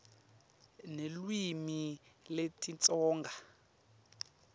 nelulwimi lesitsonga